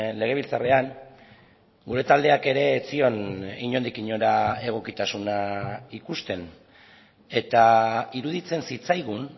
legebiltzarrean gure taldeak ere ez zion inondik inora egokitasuna ikusten eta iruditzen zitzaigun